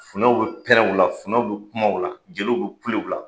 Funɛw bɛ pɛrɛn u la, funɛw bɛ kumaw o la, jeliw bɛ kule u la.